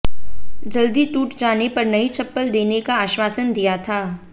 जल्दी टूट जाने पर नई चप्पल देने का आश्वासन दिया था